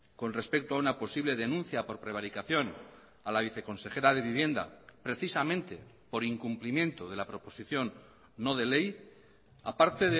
con respecto a una posible denuncia por prevaricación a la viceconsejera de vivienda precisamente por incumplimiento de la proposición no de ley aparte